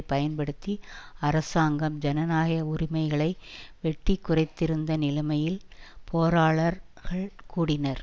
பயன்படுத்தி அரசாங்கம் ஜனநாயக உரிமைகளை வெட்டி குறைந்திருந்த நிலைமையில் பேராளர் கள் கூடினர்